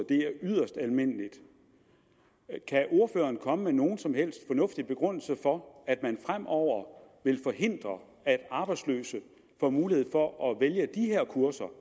det er yderst almindeligt kan ordføreren komme med nogen som helst fornuftig begrundelse for at man fremover vil forhindre at arbejdsløse får mulighed for at vælge de her kurser